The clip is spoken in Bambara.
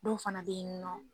Dɔw fana be yen nɔ.